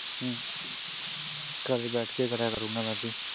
ਹੂ ਘਰੇ ਬਹਿ ਕੇ ਕਰਿਆ ਕਰਾਂਗਾ ਮੈਂ ਵੀ